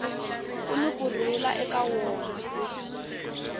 kuni ku rhula eka wona